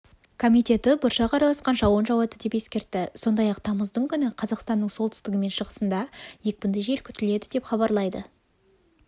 комитеті бұршақ араласқан жауын жауады деп ескертті сондай-ақ тамыздың күні қазақстанның солтүстігі мен шығысында екпінді жел күтіледі деп хабарлайды